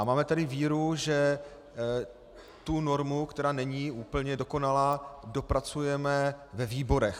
A máme tady víru, že tu normu, která není úplně dokonalá, dopracujeme ve výborech.